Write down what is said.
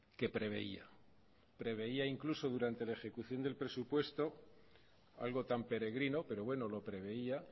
que preveía preveía incluso durante la ejecución del presupuesto algo tan peregrino pero bueno lo preveía